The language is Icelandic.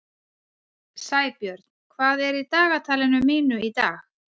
Sæbjörn, hvað er í dagatalinu mínu í dag?